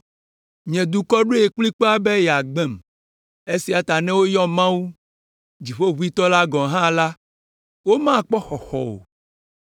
Nye dukɔ ɖoe kplikpaa be yeagbem. Esia ta ne woyɔ Mawu, Dziƒoʋĩtɔ la gɔ̃ hã la, womakpɔ xɔxɔ o.